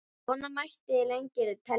Svona mætti lengi telja.